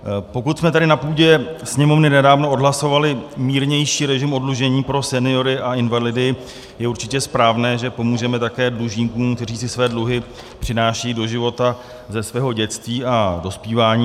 Pokud jsme tady na půdě Sněmovny nedávno odhlasovali mírnější režim oddlužení pro seniory a invalidy, je určitě správné, že pomůžeme také dlužníkům, kteří si své dluhy přinášejí do života ze svého dětství a dospívání.